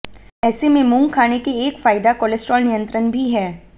ऐसे में मूंग खाने के एक फायदा कोलेस्ट्रॉल नियंत्रण भी है